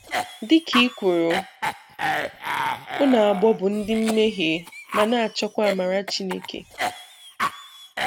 Dị ka i kwuru,"ụnụ abụọ bụ ndị mmehie ma na-achọkwa amara Chineke".